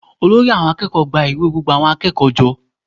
Olórí àwọn akẹ́kọ̀ọ́ ń gba ìwé gbogbo akẹ́kọ̀ọ́ jọ